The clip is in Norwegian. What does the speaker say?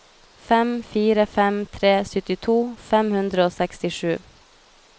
fem fire fem tre syttito fem hundre og sekstisju